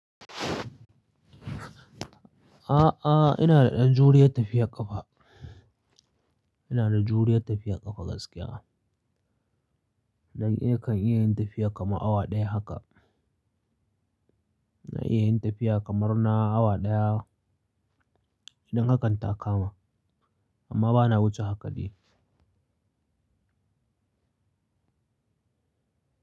A'a, ina da ɗan juriyar tafiyar ƙafa. Ina da juriya tafiya ƙafa gaskiya. Na kan iya yin tafiya kamar awa ɗaya haka. Na iya yin tafiya kamar na awa ɗaya idan hakan ta kama, amma ba na wuce haka dai.